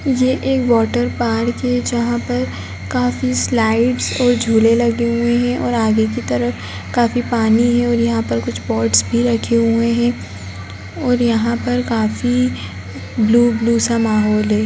ये एक water park है जहाँ पर काफी स्लाइड्स और झूले लगे हुए हैं और आगे की तरफ काफी पानी है और यहाँ पर कुछ पॉट्स भी रखे हुए हैं और यहाँ पर काफी ब्लू - ब्लू सा माहौल है।